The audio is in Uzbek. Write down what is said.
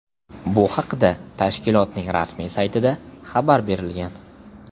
Bu haqda tashkilotning rasmiy saytida xabar berilgan .